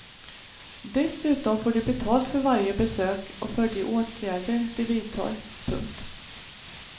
Dessutom får de betalt för varje besök och för de åtgärder de vidtar. punkt